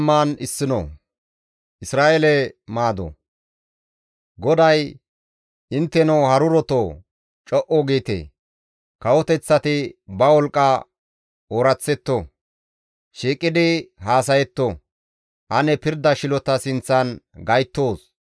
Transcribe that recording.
GODAY, «Intteno harurotoo, co7u giite; kawoteththati ba wolqqa ooraththetto; shiiqidi haasayetto; ane pirda shilota sinththan gayttoos.